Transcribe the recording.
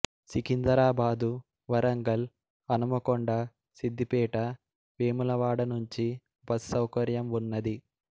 సికిందరాబాదు వరంగల్ హనుమకొండ సిధ్ధిపేట వేములవాడనుంచి బస్ సౌకర్యం వున్నది